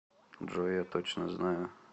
джой я точно знаю